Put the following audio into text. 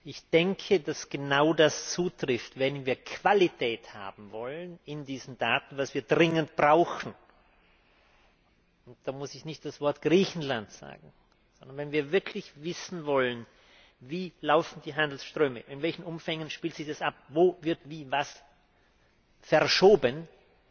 Ich denke, dass genau das zutrifft Wenn wir Qualität haben wollen in diesen Daten was wir dringend brauchen, da muss ich nicht das Wort Griechenland sagen wenn wir wirklich wissen wollen, wie die Handelsströme laufen, in welchen Umfängen sich das abspielt, wo wie was verschoben wird,